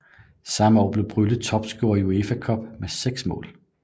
Samme år blev Brylle topscorer i UEFA Cup med seks mål